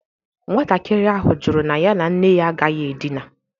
Nwatakịrị ahụ jụrụ na ya na nne ya agaghị edina.